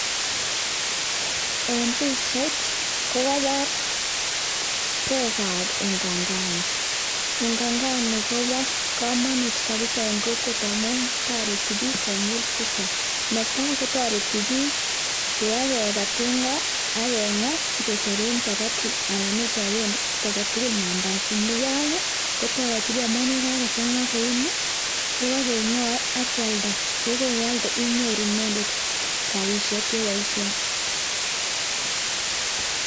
En pichait ko kobor beekab unga ngano, unga ngano kobokomonut kabisaa en kokwet amun toreti biik konyil chechang, netaa kotoreti biik kobakeba tinga ak kengaa sikechopen chapati anan ichopen kiit aketukul mandazi, nebo oeng kotoreti biik amun yekabakeng'a kouni ak kialda, yekeialda inyoru inyendet rabishek cheboishen.